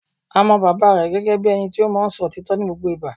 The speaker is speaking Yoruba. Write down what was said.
A mọ bàbá rẹ̀ gẹ́gẹ́ bíi ẹni tí o máa ń so òtítọ́ ní gbogbo ìgbà